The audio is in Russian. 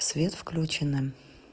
свет включеным